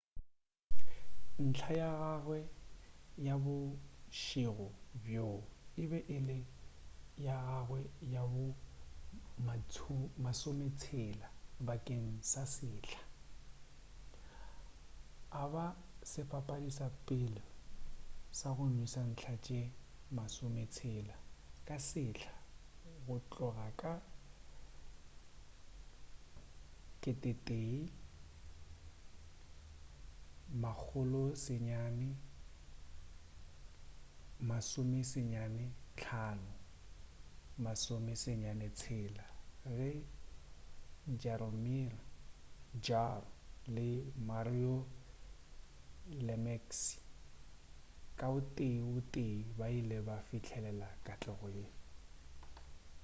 ntlha ya gagwe ya bošego bjo e be e le ya gagawe ya bo 60 bakeng sa sehla a ba sebapadi sa pele sa go nweša ntlha tše 60 ka sehla go tloga ka 1995-96 ge jaromir jagr le mario lemieux ka o tee o tee ba ile ba fihlelela katlego ye